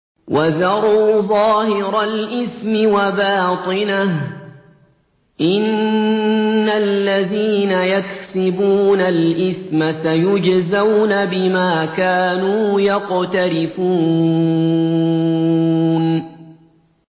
وَذَرُوا ظَاهِرَ الْإِثْمِ وَبَاطِنَهُ ۚ إِنَّ الَّذِينَ يَكْسِبُونَ الْإِثْمَ سَيُجْزَوْنَ بِمَا كَانُوا يَقْتَرِفُونَ